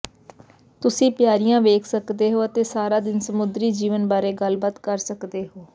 ਤੁਸੀਂ ਪਿਆਰੀਆਂ ਵੇਖ ਸਕਦੇ ਹੋ ਅਤੇ ਸਾਰਾ ਦਿਨ ਸਮੁੰਦਰੀ ਜੀਵਣ ਬਾਰੇ ਗੱਲਬਾਤ ਕਰ ਸਕਦੇ ਹੋ